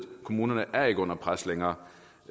kommunerne er ikke under pres længere